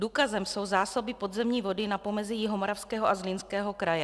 Důkazem jsou zásoby podzemní vody na pomezí Jihomoravského a Zlínského kraje.